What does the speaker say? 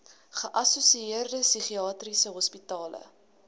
geassosieerde psigiatriese hospitale